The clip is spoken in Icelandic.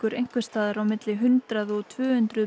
einhvers staðar á milli hundrað og tvö hundruð